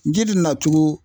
Ji di nacogo